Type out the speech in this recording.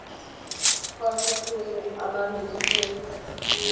setseng a na le tumelelo